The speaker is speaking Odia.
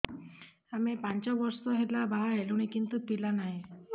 ଆମେ ପାଞ୍ଚ ବର୍ଷ ହେଲା ବାହା ହେଲୁଣି କିନ୍ତୁ ପିଲା ନାହିଁ